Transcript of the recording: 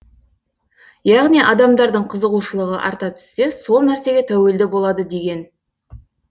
яғни адамдардың қызығушылығы арта түссе сол нәрсеге тәуелді болады деген